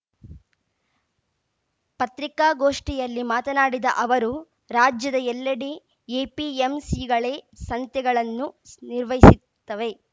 ಪತ್ರಿಕಾಗೋಷ್ಠಿಯಲ್ಲಿ ಮಾತನಾಡಿದ ಅವರು ರಾಜ್ಯದ ಎಲ್ಲೆಡೆ ಎಪಿಎಂಸಿಗಳೇ ಸಂತೆಗಳನ್ನು ಸ್ ನಿರ್ವಹಿಸುತ್ತವೆ